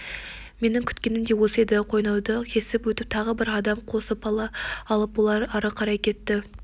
менің күткенім де осы еді қойнауды кесіп өтіп тағы бір адам қосып алып олар ары қарай кетті